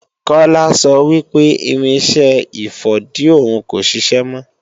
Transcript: Kola sọ wí pé irinṣẹ́ ìfọ̀dí òhun kò ṣiṣẹ́ mọ́